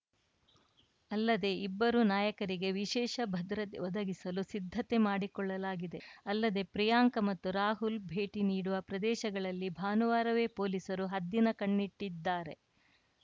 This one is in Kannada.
ಅಲ್ಲದೆ ಇಬ್ಬರು ನಾಯಕರಿಗೆ ವಿಶೇಷ ಭದ್ರತೆ ಒದಗಿಸಲು ಸಿದ್ಧತೆ ಮಾಡಿಕೊಳ್ಳಲಾಗಿದೆ ಅಲ್ಲದೆ ಪ್ರಿಯಾಂಕಾ ಮತ್ತು ರಾಹುಲ್‌ ಭೇಟಿ ನೀಡುವ ಪ್ರದೇಶಗಳಲ್ಲಿ ಭಾನುವಾರವೇ ಪೊಲೀಸರು ಹದ್ದಿನ ಕಣ್ಣಿಟ್ಟಿದ್ದಾರೆ